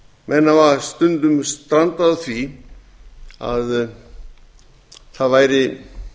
menn hafa stundum strandað á því að það væri